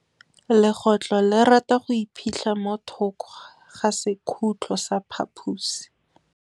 Legôtlô le rata go iphitlha mo thokô ga sekhutlo sa phaposi.